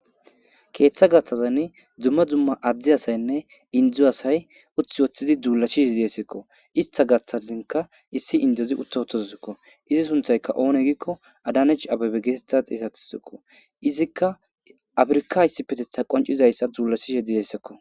Ketha gathazan dumma dumma addi asaynne induzo asay uthi woththidi duula shih hedesekko ista gaththazinka issi indozi utta ottozuzikko izi sunthayka oone giikko adanech abebe geetetha xeesatissiko izikka afirka issi petetha qoncizayssa deyisako